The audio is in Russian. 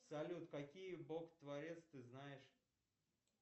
салют какие бог творец ты знаешь